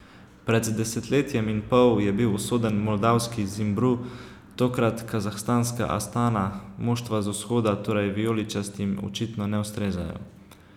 Pred desetletjem in pol je bil usoden moldavski Zimbru, tokrat kazahstanska Astana, moštva z vzhoda torej vijoličastim očitno ne ustrezajo.